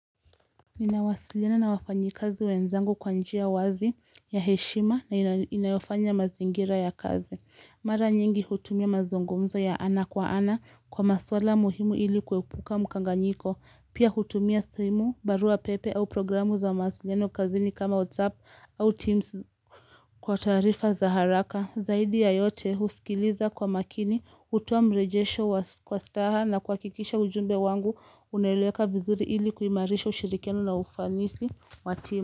Ninawasilina na wafanyikazi wenzangu kwa njia wazi ya heshima na inayofanya mazingira ya kazi Mara nyingi hutumia mazungumzo ya ana kwa ana kwa maswala muhimu ili kuepuka mkanganyiko Pia hutumia simu, barua pepe au programu za mawasiliano kazini kama WhatsApp au Teams kwa tarifa za haraka zaidi ya yote husikiliza kwa makini hutoa mrejesho kwa staha na kuhakikisha ujumbe wangu uneleweka vizuri ili kuimarisha ushirikiano na ufanisi wa tima.